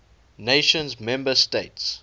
nations member states